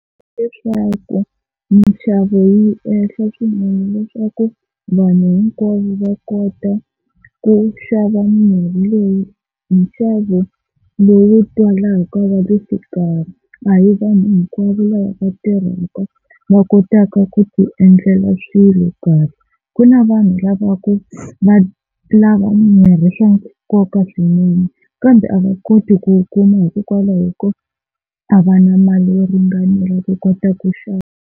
Leswaku mixavo yi ehla swinene leswaku vanhu hinkwavo va kota ku xava mirhi leyi hi nxavo lowu twalaka wa le xikarhi. A hi vanhu hinkwavo lava va tirhaka va kotaka ku ti endlela swilo kambe ku na vanhu lava ku va lava mirhi hi swa nkoka swinene kambe a va koti ku wu kuma hikokwalaho ko a va na mali yo ringanela ku kota ku xava.